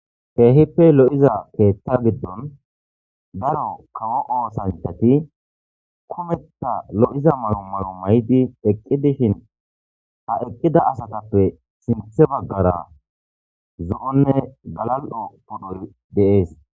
keehippe lo7iza keeththa giddon daro kawo oosantati kometa lo7iza maro maro may7di eqqi dishin ha eqqida asatappe sinthe baggara zo7onne galal7o pudhor deees